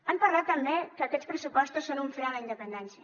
han parlat també que aquests pressupostos són un fre a la independència